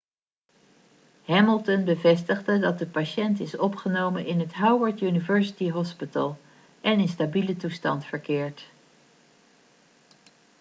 hamilton bevestigde dat de patiënt is opgenomen in het howard university hospital en in stabiele toestand verkeert